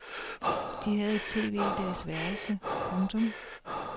De havde et tv i deres værelse. punktum